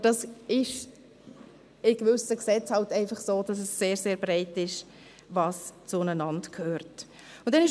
Dies ist bei gewissen Gesetzen einfach so, dass sie bei dem, was zusammengehört, sehr breit sind.